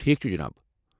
ٹھیٖکھ چھُ، جناب۔